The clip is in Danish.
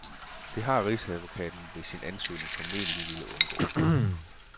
Det har rigsadvokaten ved sin ansøgning formentlig villet undgå.